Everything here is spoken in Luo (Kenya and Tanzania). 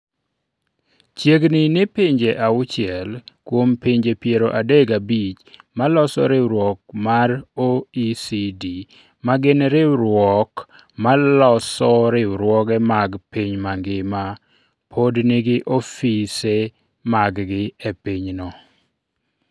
Chiegni ni pinje auchiel kuom pinje piero adek gabich maloso riwruok mar riwruok mar OECD, ma gin riwruok maloso riwruoge mag piny mangima, pod nigi ofise maggi e pinyno.